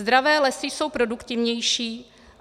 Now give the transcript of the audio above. Zdravé lesy jsou produktivnější.